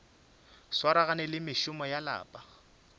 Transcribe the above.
swaragane le mešomo ya lapa